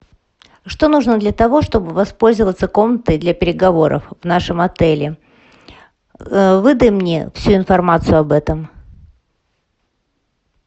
что нужно для того чтобы воспользоваться комнатой для переговоров в нашем отеле выдай мне всю информацию об этом